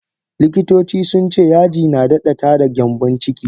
Likkitoci sunce yaji nadada tada gyambon ciki.